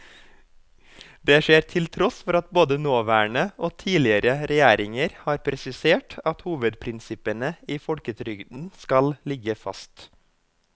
Det skjer til tross for at både nåværende og tidligere regjeringer har presisert at hovedprinsippene i folketrygden skal ligge fast.